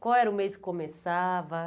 Qual era o mês que começava?